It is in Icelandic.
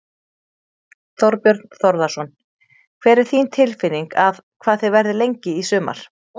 Þorbjörn Þórðarson: Hver er þín tilfinning að, hvað þið verðið lengi í sumar?